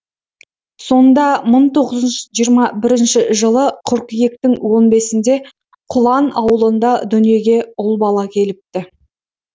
сонда мың тоғыз жүз жиырма бірінші жылы қыркүйектің он бесінде құлан ауылында дүниеге ұл бала келіпті